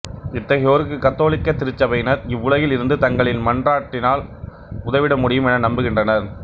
இத்தகையோருக்கு கத்தோலிக்க திருச்சபையினர் இவ்வுலகில் இருந்து தங்களின் மன்றாட்டினால் உதவிட முடியும் என நம்புகின்றனர்